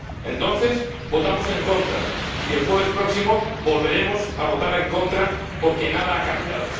Entonces votamos en contra, y el jueves próximo volveremos a votar en contra porque nada ha cambiado.